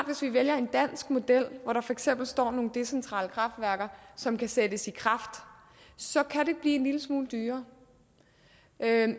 hvis vi vælger en dansk model hvor der for eksempel står nogle decentrale kraftværker som kan sættes i kraft så kan det blive en lille smule dyrere